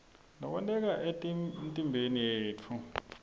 lokwenteka emtimbeni yetfu